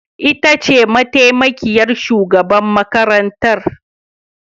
Ita ce mataimakiyar shugaban makarantar